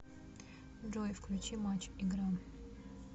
джой включи матч игра